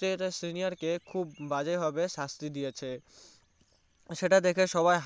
সে একটা Senior কে খুব বাজে ভাবে শাস্তি দিয়েছে সেটা দেখে সবাই